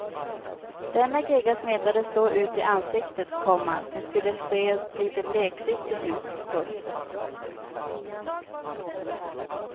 Denna gegga smetades så ut i ansiktet, komma som skulle se lite bleksiktigt ut. punkt